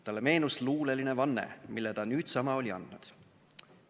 Talle meenus luuleline vanne, mille ta nüüdsama oli andnud.